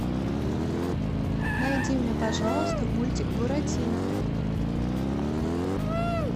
найди мне пожалуйста мультик буратино